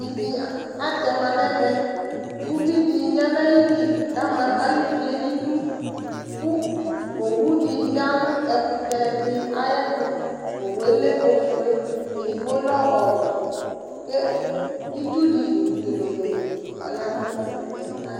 Ivi atɛ ma nʋ ɛmɛ kʋ uvi dɩ ya nʋ ayili kʋ ama ayʋ uvi yɛ nʋ idu kʋ owu dɩ ya nʋ ɛkʋtɛ dɩ ayɛtʋ Owu yɛ lɛ ofue, edigbo lɛ ɔwɛ kʋ itsu dɩ piononoo ɔya nʋ ɛkʋtɛ yɛ ayɛtʋ